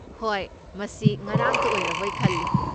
ꯍꯣꯏ, ꯃꯁꯤ ꯉꯔꯥꯡꯇ ꯑꯣꯏꯔꯕꯣꯏ ꯈꯜꯂꯤ꯫